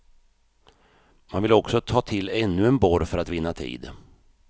Man vill också ta till ännu en borr för att vinna tid.